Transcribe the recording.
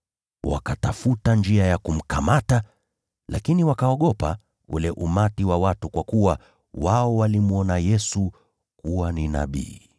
Wakatafuta njia ya kumkamata, lakini wakaogopa umati wa watu, kwa kuwa watu walimwona Yesu kuwa ni nabii.